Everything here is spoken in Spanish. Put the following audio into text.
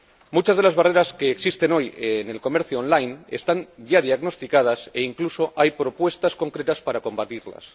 Muchas de las barreras que existen hoy en el comercio on line están ya diagnosticadas e incluso hay propuestas concretas para combatirlas.